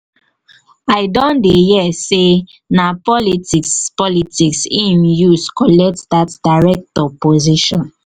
i don hear sey na politics politics im use collect dat director position.